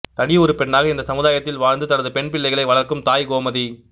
தனி ஒரு பெண்ணாக இந்த சமுதாயத்தில் வாழ்ந்து தனது பெண் பிள்ளைகளை வளர்க்கும் தாய் கோமதி